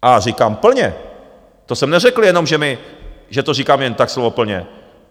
A říkám plně, to jsem neřekl jenom, že to říkám jen tak, slovo plně.